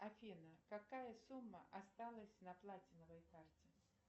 афина какая сумма осталась на платиновой карте